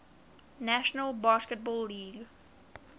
national basketball league